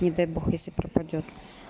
не дай бог если пропадёт